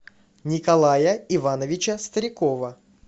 николая ивановича старикова